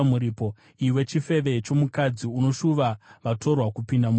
“ ‘Iwe chifeve chomukadzi! Unoshuva vatorwa kupinda murume wako!